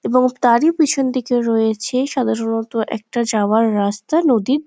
এবং তারেই পিছনদিকে রয়েছে সাধারণত একটা যাওয়ার রাস্তা নদীর --